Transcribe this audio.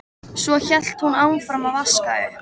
Svo hélt hún áfram að vaska upp.